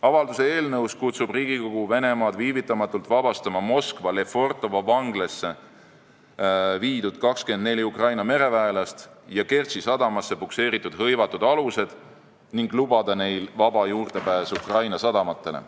Avalduse eelnõus kutsub Riigikogu Venemaad viivitamatult vabastama Moskva Lefortovo vanglasse viidud 24 Ukraina mereväelast ja Kertši sadamasse pukseeritud hõivatud alused ning lubama neile vaba juurdepääsu Ukraina sadamatele.